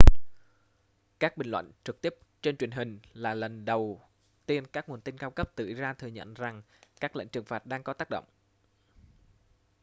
các bình luận trực tiếp trên truyền hình là lần đầu tiên các nguồn tin cao cấp từ iran thừa nhận rằng các lệnh trừng phạt đang có tác động